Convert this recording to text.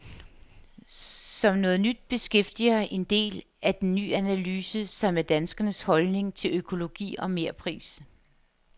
Som noget nyt beskæftiger en del af den ny analyse sig med danskernes holdning til økologi og merpris.